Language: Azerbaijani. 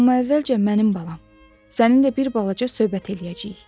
Amma əvvəlcə mənim balam, səninlə bir balaca söhbət eləyəcəyik.